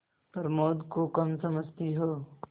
प्रमोद को कम समझती हो